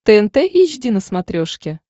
тнт эйч ди на смотрешке